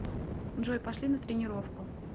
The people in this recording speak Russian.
джой пошли на тренировку